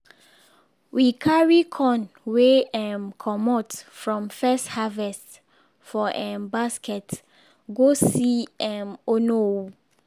we carry corn wey um comot from first harvest for um basket go see de um onowu.